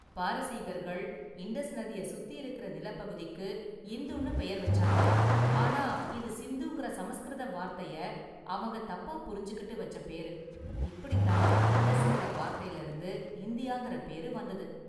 பாரசீகர்கள் Indus நதிய சுத்தி இருக்கிற நிலப்பகுதிக்கு இந்துன்னு பெயர் வச்சாங்க, ஆனா இது 'சிந்து'ங்கிற சமஸ்கிருத வார்த்தைய அவங்க தப்பா புரிஞ்சுகிட்டு வச்ச பேரு, இப்படிதான் இண்டஸ்ங்கிற வார்த்தைல இருந்து இந்தியாங்கிற பேரு வந்தது.